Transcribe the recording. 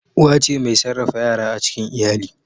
Uwa ce mai sarrafa yara a cikin iyali.